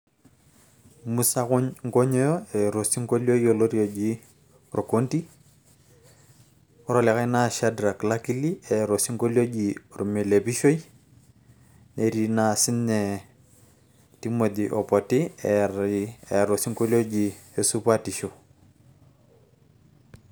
musa nkonyoyo eeta osinkolio yioloti oji orkodi, ore olikae naa shadrack lakili eji ormelepishoi. netii naa sii ninye Timothy opoti eeta osinkolio oji esupatisho.